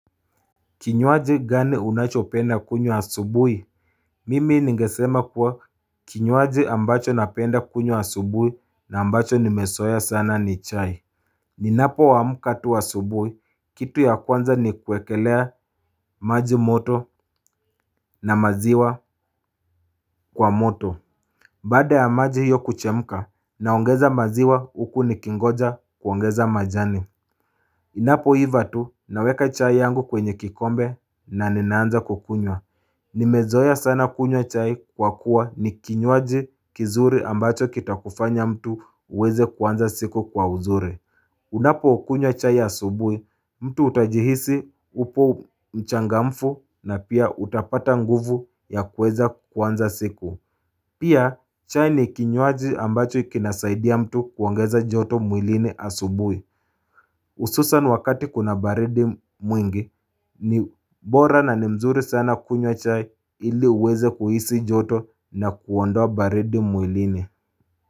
Kinywaji gani unachopenda kunywa asubuhi? Mimi ningesema kuwa kinywaji ambacho napenda kunywa asubuhi na ambacho nimezoea sana ni chai. Ninapoamka tu asubuhi, kitu ya kwanza ni kuekelea maji moto na maziwa kwa moto. Baada ya maji hiyo kuchemka, naongeza maziwa huku nikingoja kuongeza majani. Inapoiva tu naweka chai yangu kwenye kikombe na ninaanza kukunywa. Nimezoea sana kunywa chai kwa kuwa ni kinywaji kizuri ambacho kitakufanya mtu uweze kuanza siku kwa uzuri Unapokunywa chai asubuhi mtu utajihisi upo mchangamfu na pia utapata nguvu ya kuweza kuanza siku Pia chai ni kinywaji ambacho kinasaidia mtu kuongeza joto mwilini asubuhi hususan wakati kuna baridi mwingi ni bora na ni mzuri sana kunywa chai ili uweze kuhisi joto na kuondoa baridi mwilini.